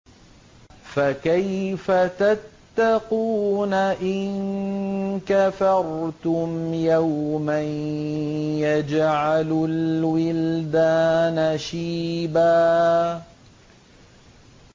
فَكَيْفَ تَتَّقُونَ إِن كَفَرْتُمْ يَوْمًا يَجْعَلُ الْوِلْدَانَ شِيبًا